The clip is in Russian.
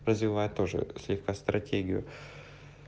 развивает тоже слегка стратегию